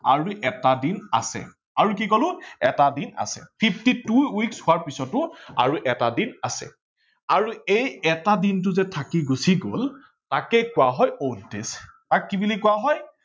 আৰু এটা দিন আছে আৰু কি কলো এটা দিন আছে fifty two weeks হোৱাৰ পিছটো আৰু এটা দিন আছে। আৰু এই এটা দিনটো যে থাকি গুচি গল তাকেই কোৱা হয় odd days তাক কি বুলি কোৱা হয়.